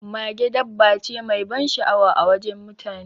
Mage dabba ce mai ban sha'awa a wajen mutane.